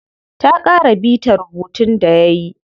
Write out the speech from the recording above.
Ta ƙara bita rubuntun da yayi.